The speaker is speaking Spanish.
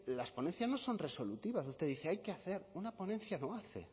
las ponencias no son resolutivas usted dice hay que hacer una ponencia no hace